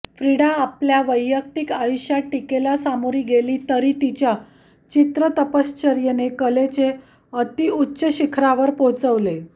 फ्रिडा आपल्या वैयक्तिक आयुष्यात टिकेला सामोरी गेली तरी तिच्या चित्रतपश्चर्येने कलेचे अत्युच्च शिखरावर पोहोचवले